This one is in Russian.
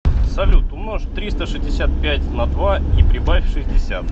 салют умножь триста шестьдесят пять на два и прибавь шестьдесят